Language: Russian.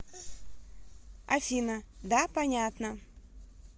афина да понятно